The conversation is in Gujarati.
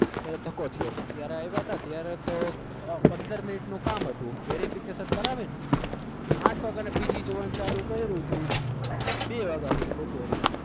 ધક્કો થયો હતો ત્યારે આવ્યા હતા ત્યારે તો આહ પંદર minute નું કામ હતું verification કરાવીને આંઠ વાગ્યાના PG જોવાનું ચાલુ કર્યું હતું બે વાગે સુધી બપોરે